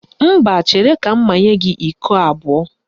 Mba, chere ka m manye gị iko abụọ